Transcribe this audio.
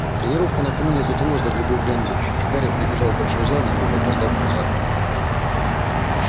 тренировка накануне затянулась до глубокой ночи и гарри прибежал в большой зал немного опоздав на завтрак